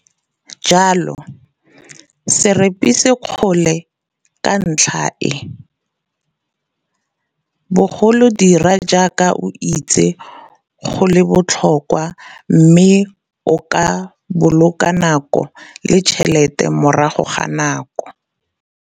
Jalo, se repise dikgole ka ntlha e, bogolo dira jaaka o itse go le botlhokwa mme o ka boloka nako le tšhelete morago ga nako.